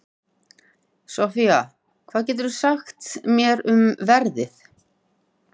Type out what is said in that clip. Soffía, hvað geturðu sagt mér um veðrið?